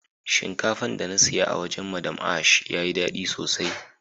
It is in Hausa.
Shinkafan da na siya a wajen " madam ash" ya yi dadi sosai.